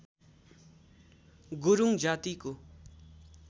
गुरूङ जातिको